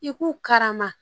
I k'u karama